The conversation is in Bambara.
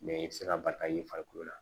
i tɛ se ka bali ka ye farikolo la